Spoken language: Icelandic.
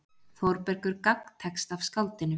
Þórbergur gagntekst af skáldinu.